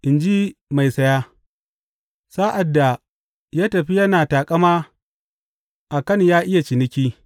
In ji mai saya; sa’ad da ya tafi yana taƙama a kan ya iya ciniki.